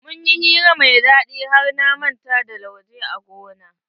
Mun yi hira mai daɗi har na manta da lauje a gona.